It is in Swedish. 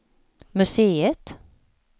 museet